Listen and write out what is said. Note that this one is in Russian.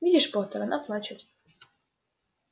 видишь поттер она плачет